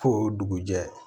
Fo dugujɛ